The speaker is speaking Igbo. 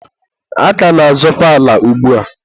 a ka na-azọkwa ala ugbua.